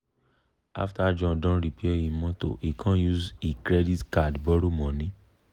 after john don repair e motor e com use e credit card borrow money.